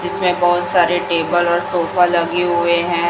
जीसमें बहोत सारे टेबल और सोफा लगे हुए है।